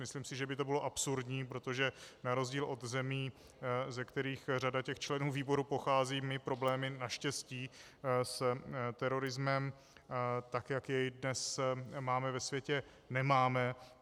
Myslím si, že by to bylo absurdní, protože na rozdíl od zemí, ze kterých řada těch členů výboru pochází, my problémy naštěstí s terorismem, tak jak jej dnes máme ve světě, nemáme.